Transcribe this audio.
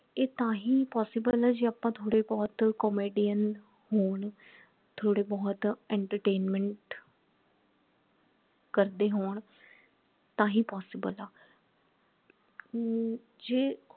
ਇਹ ਤਾਂ ਹੀ possible ਹੈ ਜੇ ਆਪਾ ਥੋੜੇ ਬਹੁਤ comedian ਹੋਣ ਥੋੜੇ ਬਹੁਤ entertainment ਕਰਦੇ ਹੋਣ ਤਾਂ ਹੀ possible ਹੈ ਹਮ ਜੇ